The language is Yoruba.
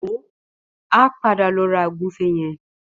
Wò ó, a padà lọ ra ògúnfe yẹn.